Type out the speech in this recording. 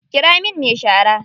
Ƙira min me shara.